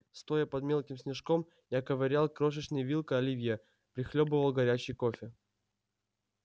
стоя под мелким снежком я ковырял крошечной вилкой оливье прихлёбывал горячий кофе